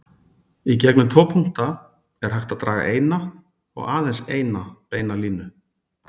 Í gegnum tvo punkta er hægt að draga eina og aðeins eina beina línu.